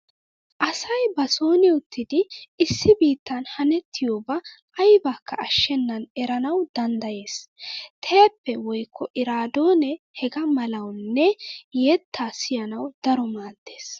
Asay ba sooni uttidi issi biittan hanettiuaba aybakka ashshennan eranawu danddayees. Teeppee woykko eraadoonee hegaa malawunne yettaa siyanawu daro maaddees.